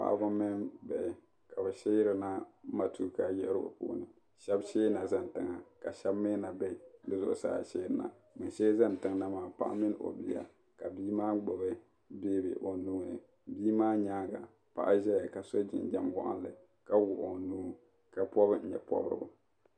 paɣ' mini bihi ka be shɛrina matuka yiɣieigu puuni shɛb shɛba zani tɛŋa ka shɛbi mi na bɛ di zuɣisaa shɛrina bankuli zani tɛna maa paɣ' mini do ko gbabi biya ka bimaa gbabi kodu o nuuni nimaa nyɛŋa paɣ' ʒɛya ka su jijam walinli ka wuɣigi o nuu ka pubi tɛbipurigu